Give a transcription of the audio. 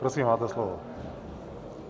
Prosím, máte slovo.